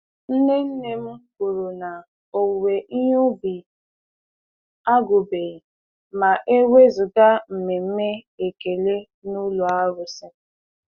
Nne nne m kwuru na owuwe ihe ubi agwụbeghị ma e wezụga mmemme ekele n'ụlọ arụsị.